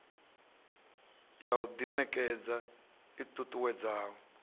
ya u ḓiṋekedza i ṱuṱuwedzaho